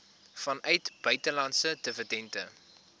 vanuit buitelandse dividende